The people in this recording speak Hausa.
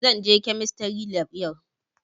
Zan je kemistry lab yau